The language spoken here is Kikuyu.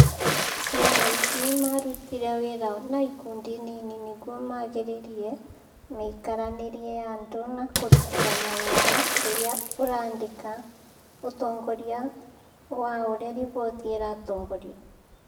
ciana ici marutire wĩra na ikundi nini nĩguo magĩrĩrie mĩikaranĩrie ya andũ na kũrutithania wĩra rĩrĩa ũraandĩka ũtongoria wa ũrĩa roboti ĩratongorio